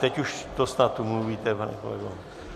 Teď už to snad umluvíte, pane kolego.